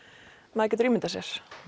maður getur ímyndað sér